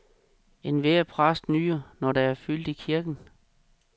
Enhver præst nyder når der er fyldt i kirken.